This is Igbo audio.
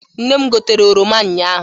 Nne m gotere oroma unyaahụ.